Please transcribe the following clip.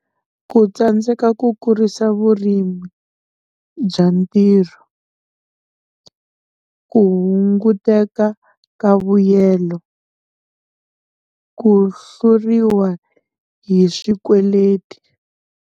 Ku tsandzeka ku kurisa vurimi bya ntirho, ku hunguteka ka vuyelo, ku hluriwa hi swikweleti.